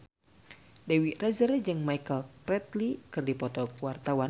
Dewi Rezer jeung Michael Flatley keur dipoto ku wartawan